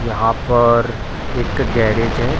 यहाँ पर एक गैरेज है।